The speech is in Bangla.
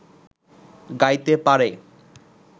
গাইতে পারে